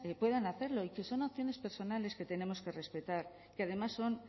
puedan hacerlo y que son opciones personales que tenemos que respetar que además son